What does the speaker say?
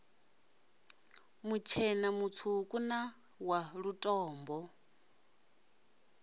mutshena mutswuku na wa lutombo